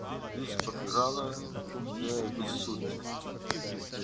изпод крана не обессудьте